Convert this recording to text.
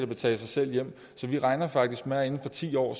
betale sig selv hjem så vi regner faktisk med at inden for ti år